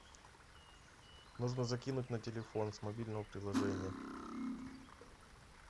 нужно закинуть на телефон с мобильного приложения